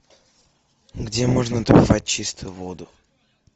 где можно добывать чистую воду